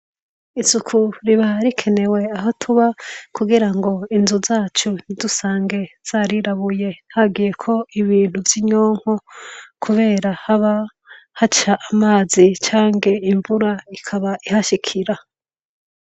Isuku riba rikenewe, aho tuba kugira ngo inzu zacu ntidusange zarirabuye hagiye ko ibintu vy'inyonko kubera haba haca amazi cange imvura ikaba ihashikira.